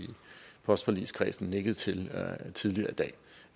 postforligskredsen nikket til tidligere i dag